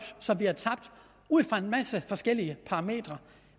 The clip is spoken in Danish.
som vi har tabt ud fra en masse forskellige parametre